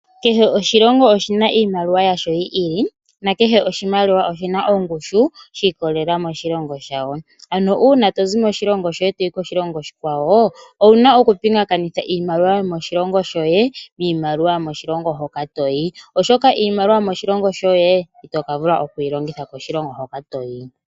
Kehe oshilongo oshina iimaliwa yasho yi ili nakehe oshimaliwa oshina ongushu shi ikolelela koshilongo shayo. Ano uuna tozi moshilongo shoye wu uka koshilongo shilwe, owuna oku pingakanitha iimaliwa yomoshilongo shoye oshoka iimaliwa yomoshilongo shoye itoka vula okuyi longitha koshilongo hoka toyi.